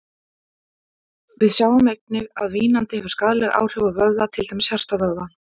Við sjáum einnig að vínandi hefur skaðleg áhrif á vöðva, til dæmis hjartavöðvann.